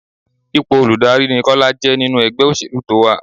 Ipò olùdarí ni Kọ́lá jẹ́ nínú ẹgbẹ́ òṣèlú tó wá.